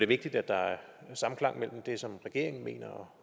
vigtigt at der er samklang imellem det som regeringen mener